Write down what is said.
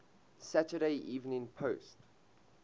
saturday evening post